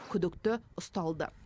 күдікті ұсталды